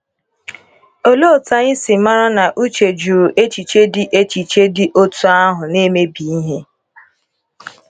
Olee otú anyị si mara na Uche jụrụ echiche dị echiche dị otú ahụ na - emebi ihe?